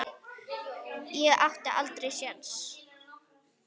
Ég átti aldrei séns.